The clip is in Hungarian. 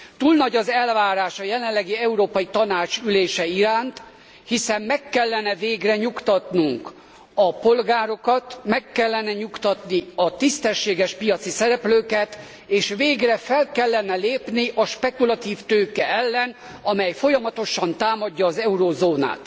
Túl nagy az elvárás a jelenlegi Európai Tanács ülése iránt, hiszen meg kellene végre nyugtatnunk a polgárokat, meg kellene nyugtatni a tisztességes piaci szereplőket, és végre fel kellene lépni a spekulatív tőke ellen, amely folyamatosan támadja az eurózónát.